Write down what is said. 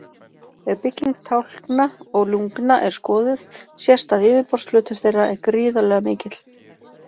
Ef bygging tálkna og lungna er skoðuð sést að yfirborðsflötur þeirra er gríðarlega mikill.